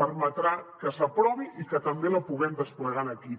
permetrà que s’aprovi i que també la puguem desplegar aquí